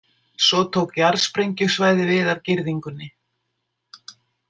Svo tók jarðsprengjusvæði við af girðingunni.